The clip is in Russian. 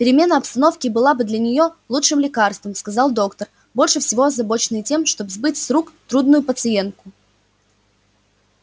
перемена обстановки была бы для неё лучшим лекарством сказал доктор больше всего озабоченный тем чтобы сбыть с рук трудную пациентку